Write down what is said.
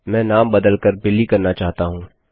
मैं नाम बदल कर बिली करना चाहता हूँ